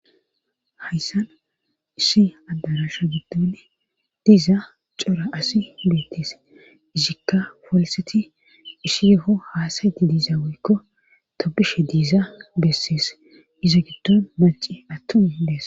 Hayssan isshi adarasha giddonne diiza cora asi beettees ishikka folseti ishi yeho haasayeti diiza woykko tobishe diiza bessees izo giddon maci attun dees